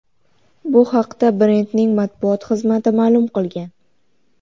Bu haqda brendning matbuot xizmati ma’lum qilgan.